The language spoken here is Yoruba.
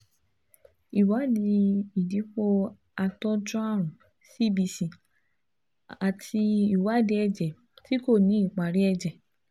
ìwádìí ìdìpọ̀ àtọ́jú àrùn (CBC) àti ìwádìí ẹ̀jẹ̀ tí kò ní ìparí ẹ̀jẹ̀